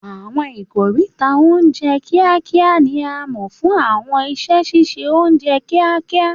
Àwọn ikoríta oúnjẹ kíákíá ni a mọ̀ fún àwọn iṣẹ́ ṣíṣe oúnjẹ kíákíá